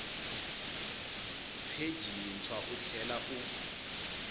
pheji yintshwa u tlhela u